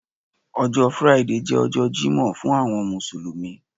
ọjọ Friday je ọjọ jimoh fún àwọn mùsùlùmí